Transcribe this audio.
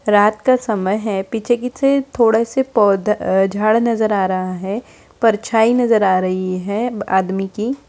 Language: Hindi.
रात का समय है पीछे किसी थोड़े से पौधे झाड़ नजर आ रहा है परछाई नजर आ रही हैं आदमी की।